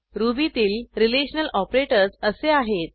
रुबीतील relational operators असे आहेत